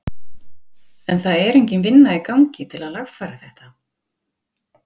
Gunnar Atli: En það er engin vinna í gangi til að lagfæra þetta?